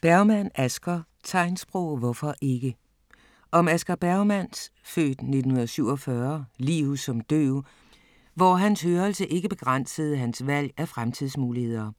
Bergmann, Asger: Tegnsprog - hvorfor ikke? Om Asger Bergmanns (f. 1947) liv som døv, hvor hans hørelse ikke begrænsede hans valg af fremtidsmuligheder.